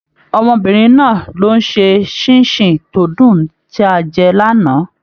Ọmọbìnrin náà ló n ṣe ṣinṣin tó dùn tí a jẹ l'ana.